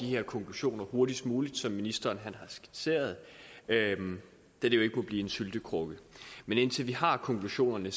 her konklusioner hurtigst muligt som ministeren har skitseret da det jo ikke må blive en syltekrukke men indtil vi har konklusionerne